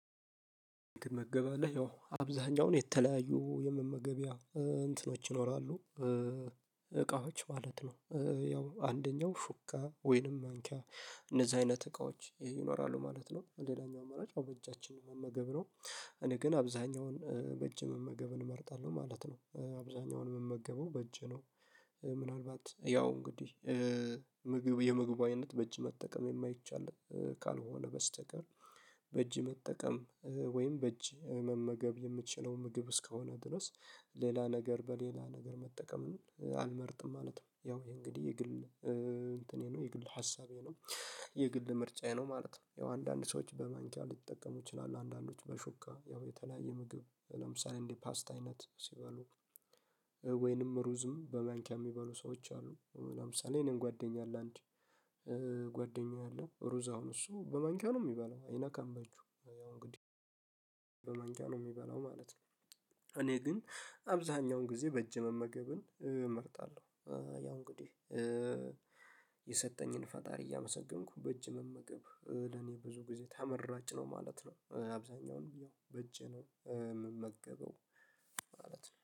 እንድመገብ አለ ያው አብዛኛውን የተለያዩ የመመገቢያ እንትኖች ይኖራሉ። እቃዎች ማለት ነው ያው አንደኛው ሹካወይንም ማንኪያ እንደዛ አይነት እቃዎች ይኖራሉ ማለት ነው። ሌላኛው አማራጭ ያው በእጃችን መመገብ ነው። እኔ ግን አብዛኛውን በእጅ መመገብ እመርጣለሁ ማለት ነው አብዛኛውን የምመገበው በእጅ ነው። ምናልባት ያው እንግዲህ ምግብ የምግባዊነት በእጅ መጠቀም የማይቻል ካልሆነ በስተቀር። በእጅ መጠቀም ወይም በእጅ መመገብ የምችለው ምግብ እስከሆነ ድረስ ሌላ ነገር በሌላ ነገር መጠቀም አልመርጥም ማለት ነው። ያው የእንግዲህ የግል እንትኔ ነው የግል ሀሳቤ ነው። የግል ምርጫዬ ነው ማለት ነው። ያው አንዳንድ ሰዎች በማንኪያ ሊጠቀሙ ይችላሉ። አንዳንዶች በሹካ ያው የተለያየ ምግብ ለምሳሌ እንዲህ ፓስት አይነት ሲበሉ። ወይንም ሩዝም በመንኪያ የሚበሉ ሰዎች አሉ። ለምሳሌ የእኔም ጓደኛ አለ። አንድ ጓደኛ አለ። ሩዝ አሁን እሱ በማንኪያ ነው የሚበላው። አይነካም በእጁ ያው እንግዲህ በማንኪያ ነው የሚበላው ማለት ነው። እኔ ግን አብዛኛውን ጊዜ በእጅ መመገብን እመርጣለሁ። ያው እንግዲህ የሰጠኝን ፈጣሪ እያመሰገንኩ በእጅ መመገብ ለኔ ብዙ ጊዜ ተመራጭ ነው ማለት ነው። አብዛኛውን ያው በእጄ ነው የምመገበው ማለት ነው